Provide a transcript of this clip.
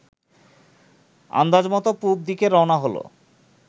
আন্দাজমত পুব দিকে রওনা হল